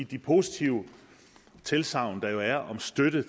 de positive tilsagn der jo er om støtte